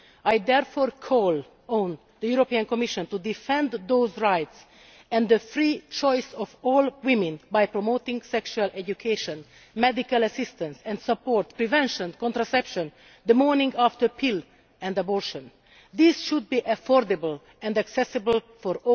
I therefore call on the European Commission to defend those rights and the free choice of all women by promoting sexual education, medical assistance and support, prevention, contraception, the morning after pill and abortion. This should be affordable and accessible for